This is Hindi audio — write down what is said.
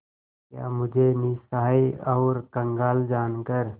क्या मुझे निस्सहाय और कंगाल जानकर